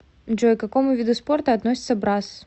джой к какому виду спорта относится брасс